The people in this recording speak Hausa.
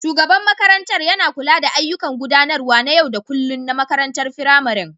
Shugaban makarantar yana kula da ayyukan gudanarwa na yau da kullun na makarantar firamarin